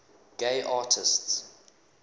gay artists